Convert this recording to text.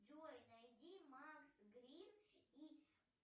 джой найди макс грин и